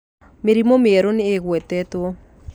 Mĩrimũ mĩerũ nĩĨgwetetwo